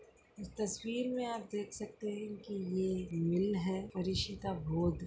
तस्वीर मे आप देख सकते है की ये मील हैं परीषिता बोध --